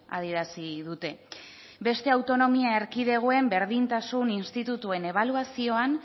adierazi dute beste autonomia erkidegoen berdintasun institutuen ebaluazioan